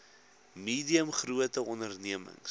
medium grote ondememings